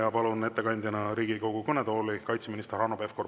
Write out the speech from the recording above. Ja palun ettekandjaks Riigikogu kõnetooli kaitseminister Hanno Pevkuri.